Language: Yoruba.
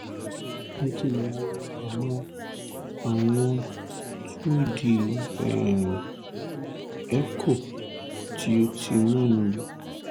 mo ti wo àwọn awọn two d um echo ti o ti mẹ́nubà